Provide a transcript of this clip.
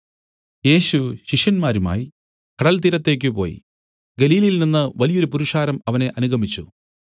യേശു ശിഷ്യന്മാരുമായി കടൽത്തീരത്തേക്ക് പോയി ഗലീലയിൽനിന്ന് വലിയൊരു പുരുഷാരം അവനെ അനുഗമിച്ചു